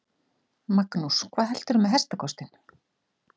Magnús: Hvað heldurðu með hestakostinn?